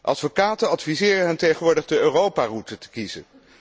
Advocaten adviseren hen tegenwoordig de Europaroute te kiezen.